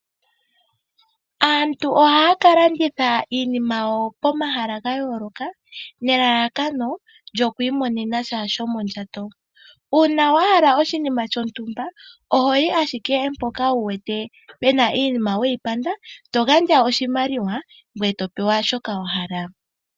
Aantu ohaya ka landitha iinima yawo pomahala ga yooloka, nelalakano lyokwiimonena sha shomondjato, uuna wahala oshinima shontumba ohoyi shike mpoka wuwete pena iinima weyi panda etogandja oshimaliwa ngweye topewa shoka wahala.